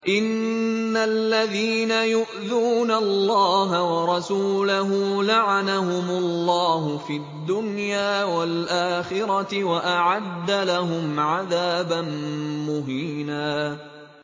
إِنَّ الَّذِينَ يُؤْذُونَ اللَّهَ وَرَسُولَهُ لَعَنَهُمُ اللَّهُ فِي الدُّنْيَا وَالْآخِرَةِ وَأَعَدَّ لَهُمْ عَذَابًا مُّهِينًا